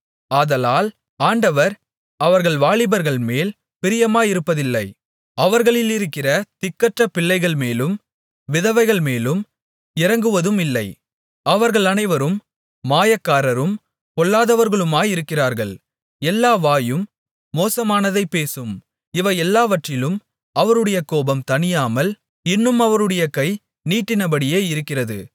ஆதலால் ஆண்டவர் அவர்கள் வாலிபர்மேல் பிரியமாயிருப்பதில்லை அவர்களிலிருக்கிற திக்கற்ற பிள்ளைகள்மேலும் விதவைகள்மேலும் இரங்குவதுமில்லை அவர்கள் அனைவரும் மாயக்காரரும் பொல்லாதவர்களுமாயிருக்கிறார்கள் எல்லா வாயும் மோசமானதைப் பேசும் இவையெல்லாவற்றிலும் அவருடைய கோபம் தணியாமல் இன்னும் அவருடைய கை நீட்டினபடியே இருக்கிறது